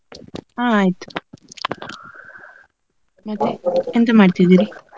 ಹಾ ಆಯ್ತು . ಮತ್ತೆ ಎಂತ ಮಾಡ್ತಿದ್ದೀರಿ?